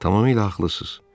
Tamamilə haqlısınız.